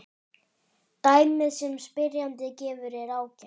Dæmið sem spyrjandinn gefur er ágætt.